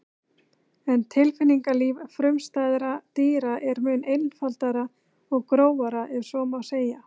En tilfinningalíf frumstæðra dýra er mun einfaldara og grófara ef svo má segja.